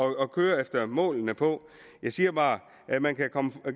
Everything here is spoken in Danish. at køre efter målene på jeg siger bare at man kan komme